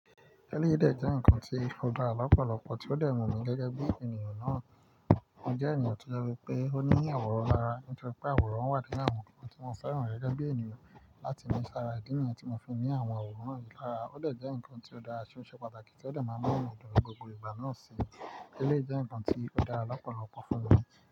Tẹ́lẹ̀yí de jẹ́ ǹkan tí ó dá lọ́pọ̀lọpọ̀, tí ó dẹ̀ wú mi gẹ́gẹ́ bí ènìyàn náà. MÓ jẹ́ ènìyàn tí ó jẹ pé ó ní àwòrán lára, nítorí pé àwòrán wà nínú àwọn nǹkan tí mọ́ fẹ́ràn rẹ̀ gẹ́gẹ́ bí ènìyàn. Láti mú sára ìdí nìyẹn tí mo fi ní àwọn àwòrán yìí lára ó dẹ̀ jẹ́ ǹkan tí ó dára tì ó ṣe pàtàkì tí ó dẹ̀ máa ń mú inú mì dùn ní gbogbo ìgbà náà sì. Tẹ́lẹ̀ jẹ́ ǹkan tí ó dára lọ́pọ̀lọpọ̀ fún mi.